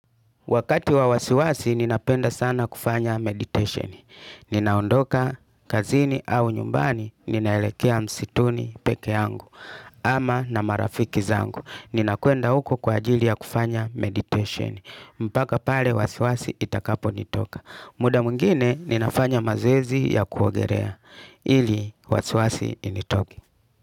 Wakati wa wasiwasi, ninapenda sana kufanya meditation. Ninaondoka, kazini au nyumbani, ninaelekea msituni peke yangu. Ama na marafiki zangu. Ninakuenda uko kwa ajili ya kufanya meditation. Mpaka pale wasiwasi itakapo nitoka. Muda mwingine, ninafanya mazoezi ya kuogerea. Ili, wasiwasi initoke.